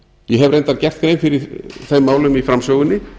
ég hef reyndar gert grein fyrir þeim málum í framsögunni